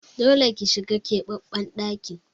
Dole ki shiga ɗakin kara ƙiba